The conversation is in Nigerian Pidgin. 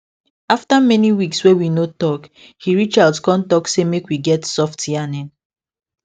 after many weeks wey we no talk he reach out con talk say make we get soft yarning